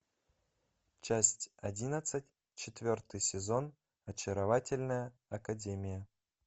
часть одиннадцать четвертый сезон очаровательная академия